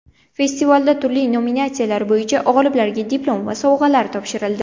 Festivalda turli nominatsiyalar bo‘yicha g‘oliblarga diplom va sovg‘alar topshirildi.